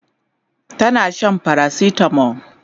tana Shan paracetamol